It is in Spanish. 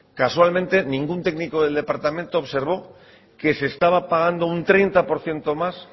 casualmente ningún técnico del departamento observó que se estaba pagando un treinta por ciento más